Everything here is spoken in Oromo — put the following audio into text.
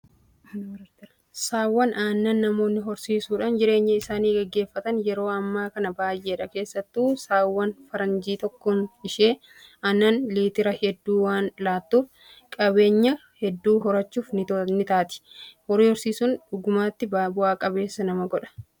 Saawwan aannanii namoonni horsiisuudhaan jireenya isaanii gaggeeffatan yeroo ammaa kana baay'eedha. Keessattuu saawwan faranjii tokkoon ishee aannan liitira hedduu waan laattuuf qabeenyaa hedduu horachuuf ni taati. Horii horsiisuun dhugumattuu bu'aa qabeessa nama godha